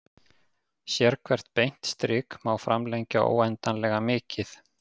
Sérhvert beint strik má framlengja óendanlega mikið.